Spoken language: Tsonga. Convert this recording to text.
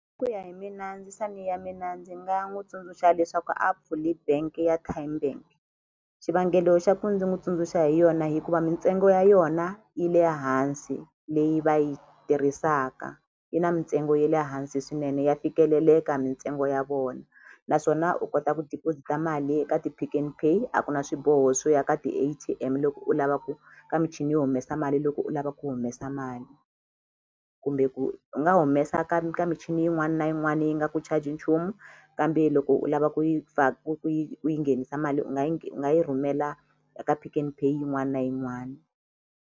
Ku ya hi mina ndzisani ya mina ndzi nga n'wi tsundzuxa leswaku a pfuli bank ya Tymebank xivangelo xa ku ndzi n'wi tsundzuxa hi yona hikuva mintsengo ya yona yi le hansi leyi va yi tirhisaka yi na mintsengo ye le hansi swinene ya fikeleleka mintsengo ya vona naswona u kota ku deposit-a mali eka ti-Pick n Pay a ku na swiboho swo ya ka ti-A_T_M loko u lava ku ka michini yo humesa mali loko u lava ku humesa mali kumbe ku u nga humesa ka ka michini yin'wani na yin'wani yi nga ku charge nchumu kambe loko u lava ku yi ku ku yi ku yi nghenisa mali u nga yi u nga yi rhumela eka Pick n Pay yin'wani na yin'wani.